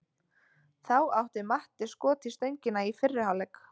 Þá átti Matti skot í stöngina í fyrri hálfleik.